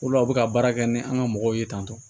O de la u bɛ ka baara kɛ ni an ka mɔgɔw ye tan tɔ